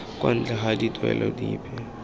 kwa ntle ga dituelo dipe